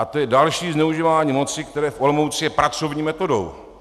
A to je další zneužívání moci, které v Olomouci je pracovní metodou.